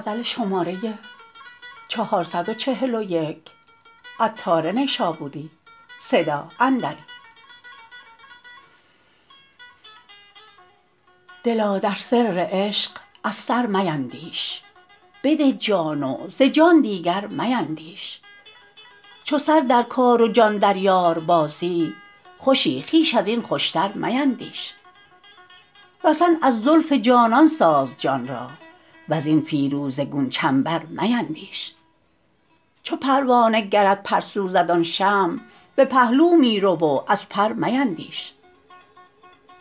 دلا در سر عشق از سر میندیش بده جان و ز جان دیگر میندیش چو سر در کار و جان در یار بازی خوشی خویش ازین خوشتر میندیش رسن از زلف جانان ساز جان را وزین فیروزه گون چنبر میندیش چو پروانه گرت پر سوزد آن شمع به پهلو می رو و از پر میندیش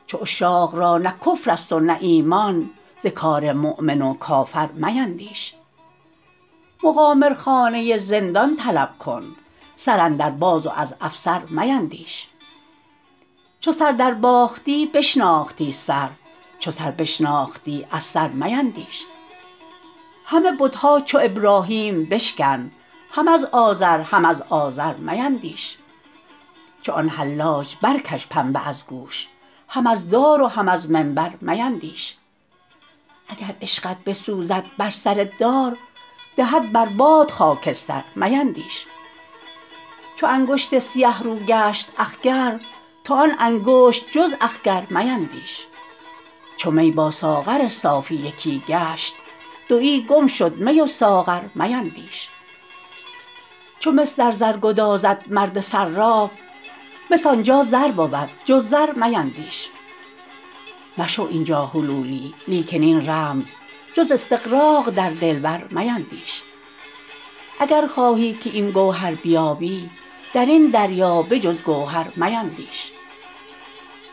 چو عاشق را نه کفر است و نه ایمان ز کار مؤمن و کافر میندیش مقامرخانه رندان طلب کن سر اندر باز و از افسر میندیش چو سر در باختی بشناختی سر چو سر بشناختی از سر میندیش همه بتها چو ابراهیم بشکن هم از آذر هم از آزر میندیش چو آن حلاج برکش پنبه از گوش هم از دار و هم از منبر میندیش اگر عشقت بسوزد بر سر دار دهد بر باد خاکستر میندیش چو انگشت سیه رو گشت اخگر تو آن انگشت جز اخگر میندیش چو می با ساغر صافی یکی گشت دویی گم شد می و ساغر میندیش چو مس در زر گدازد مرد صراف مس آنجا زر بود جز زر میندیش مشو اینجا حلولی لیکن این رمز جز استغراق در دلبر میندیش اگر خواهی که گوهرها بیابی درین دریا به جز گوهر میندیش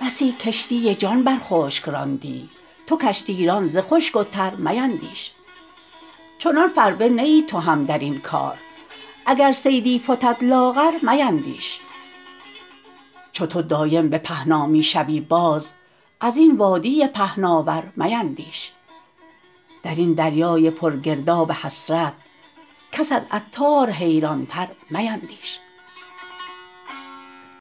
بسی کشتی جان بر خشک راندی تو کشتی ران ز خشک و تر میندیش چنان فربه نه ای تو هم درین کار اگر صیدی فتد لاغر میندیش چو تو دایم به پهنا می شوی باز ازین وادی پهناور میندیش درین دریای پر گرداب حسرت کس از عطار حیران تر میندیش